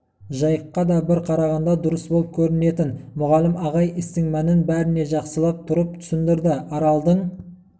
жайыққа да бір қарағанда дұрыс болып көрінетін мұғалім ағай істің мәнін бәріне жақсылап тұрып түсіндірді аралдың